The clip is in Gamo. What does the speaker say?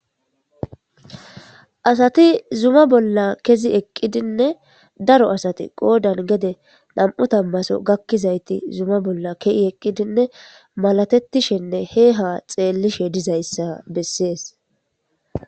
Assati zuma bolla kezi eqididden darro assati qoddani gedde nam'u tammaso gakizayiti keyidi malatetishenne he ha xelishe dizayita bessesi.